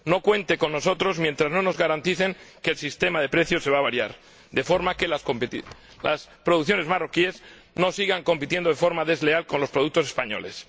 No cuente con nosotros mientras no nos garanticen que el sistema de precios se va a variar de forma que las producciones marroquíes no sigan compitiendo de forma desleal con los productos españoles.